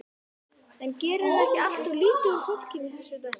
En gerirðu ekki alltof lítið úr fólkinu í þessu dæmi?